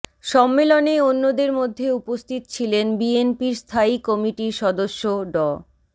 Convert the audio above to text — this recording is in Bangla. সম্মেলনে অন্যদের মধ্যে উপস্থিত ছিলেন বিএনপির স্থায়ী কমিটির সদস্য ড